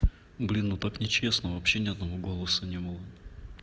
блин ну так нечестно вообще ни одного голоса не было